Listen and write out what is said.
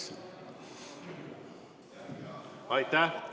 Aitäh!